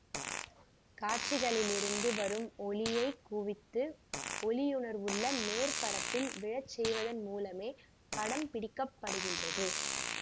காட்சிகளிலிருந்து வரும் ஒளியைக் குவித்து ஒளியுணர்வுள்ள மேற்பரப்பில் விழச் செய்வதன் மூலமே படம் பிடிக்கப்படுகின்றது